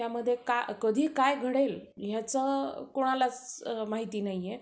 त्यामध्ये कधी काय घडेल ह्याच कुणालाच माहित नाहीए.